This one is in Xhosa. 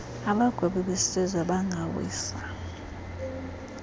abagwebi besizwe bangawisa